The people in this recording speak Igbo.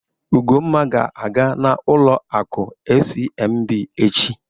Ugonma ga-aga n'ụlọ akụ FCMB echi.